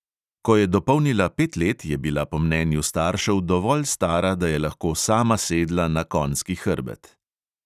Ko je dopolnila pet let, je bila po mnenju staršev dovolj stara, da je lahko sama sedla na konjski hrbet.